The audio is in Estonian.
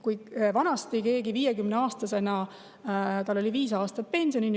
Vanasti oli kellelgi 50-aastasena viis aastat pensionini.